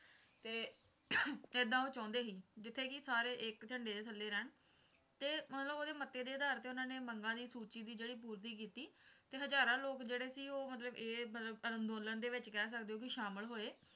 ਐਦਾਂ ਉਹ ਚਾਹੁੰਦੇ ਸੀ ਜਿੱਥੇ ਕਿ ਸਾਰੇ ਇੱਕ ਝੰਡੇ ਦੇ ਥੱਲੇ ਰਹਿਣ ਤੇ ਮਤਲਬ ਓਹਦੇ ਮੱਤੇ ਦੇ ਅਧਾਰ ਤੇ ਮੰਗਾਂ ਦੀ ਸੂਚੀ ਦੀ ਜਿਹੜੀ ਪੂਰਤੀ ਕੀਤੀ ਤੇ ਹਜ਼ਾਰਾਂ ਲੋਕ ਜਿਹੜੇ ਸੀ ਮਤਲਬ ਇਹ ਮਤਲਬ ਅੰਦੋਲਨ ਵਿੱਚ ਕਹਿ ਸਕਦੇ ਹੋ ਕਿ ਸ਼ਾਮਲ ਹੋਏ